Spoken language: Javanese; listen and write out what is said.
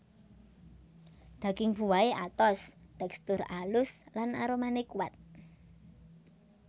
Daging buahé atos tèkstur alus lan aromané kuat